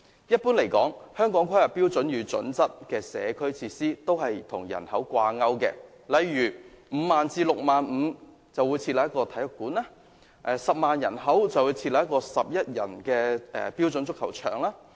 一般而言，《香港規劃標準與準則》的社區設施均與人口掛鈎，例如每 50,000 至 65,000 名人口便獲提供一個體育館，以及每10萬名人口便獲提供一個11人標準足球場。